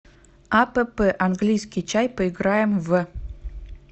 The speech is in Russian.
апп английский чай поиграем в